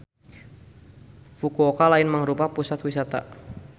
Fukuoka lain mangrupa pusat wisata.